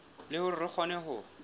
le hore re kgone ho